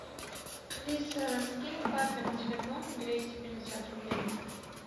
алиса скинь папе на телефон двести пятьдесят рублей